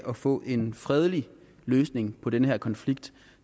af at få en fredelig løsning på den her konflikt